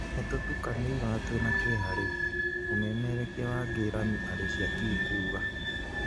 "Nĩtũtukanĩirwo na twĩna kĩeha rĩu," mũmererekia wa Ngĩramĩ Arĩcia Ki kuuga.